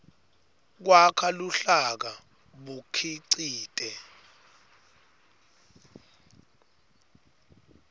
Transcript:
kwakha luhlaka bukhicite